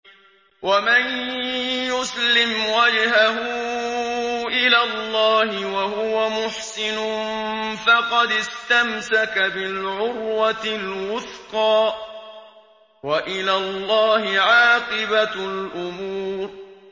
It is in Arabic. ۞ وَمَن يُسْلِمْ وَجْهَهُ إِلَى اللَّهِ وَهُوَ مُحْسِنٌ فَقَدِ اسْتَمْسَكَ بِالْعُرْوَةِ الْوُثْقَىٰ ۗ وَإِلَى اللَّهِ عَاقِبَةُ الْأُمُورِ